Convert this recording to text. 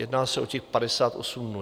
Jedná se o těch 58 dnů.